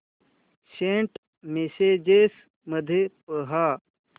Saint messages मध्ये पहा